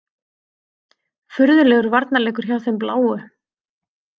Furðulegur varnarleikur hjá þeim bláu.